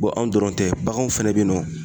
Bɔn anw dɔrɔn tɛ baganw fɛnɛ be yen nɔ